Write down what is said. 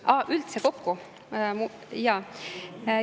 Aa, üldse kokku?